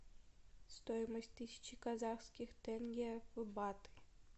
стоимость тысячи казахских тенге в бат